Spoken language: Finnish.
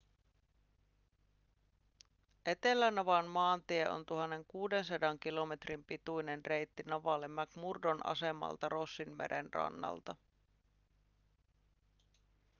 etelänavan maantie on 1 600 kilometrin pituinen reitti navalle mcmurdon asemalta rossinmeren rannalta